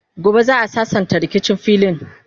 gobe za'a sassanta rikicin filin